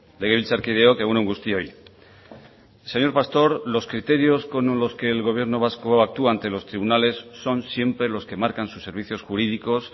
legebiltzarkideok egun on guztioi señor pastor los criterios con los que el gobierno vasco actúa ante los tribunales son siempre los que marcan sus servicios jurídicos